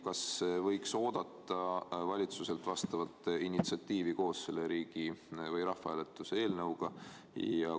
Kas on alust oodata valitsuselt vastavat initsiatiivi koos selle rahvahääletuse eelnõuga?